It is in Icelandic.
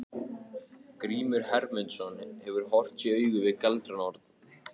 Grímur Hermundsson hefur horfst í augu við galdranorn.